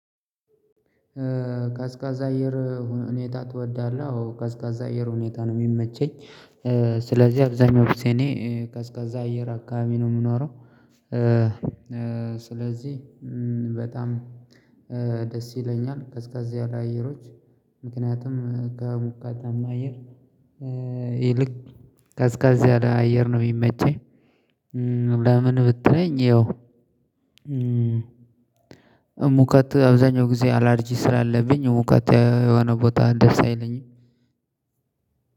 ቀዝቃዛ አየር ሁኔታ ትወዳለህ? አዎ ቀዝቃዛ አየር ሁኔታ ነው የሚመቸኝ። አብዛኛው ጊዜ እኔ ቀዝቃዛ እየር አካባቢ ነው የምኖረው። ስለዚህ በጣም ደስ ይለኛል። ቀዝቀዝ ያሉ አየሮች ምክንያቱም ከሙቃታማ አየር ይልቅ ቀዝቀዝ ያለ አየር ነው የሚመቸኝ። ብትለኝ ያው እሙከት አብዛኛው ጊዜ አላርጂ ስላለብኝ እውቀት የሆነ ቦታ ደስ አይለኝ።